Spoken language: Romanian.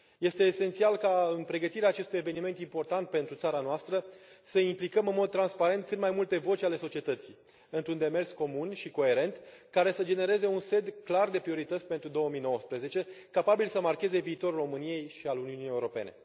Este esențial ca în pregătirea acestui eveniment important pentru țara noastră să implicăm în mod transparent cât mai multe voci ale societății, într un demers comun și coerent, care să genereze un set clar de priorități pentru 2019, capabil să marcheze viitorul României și al Uniunii Europene.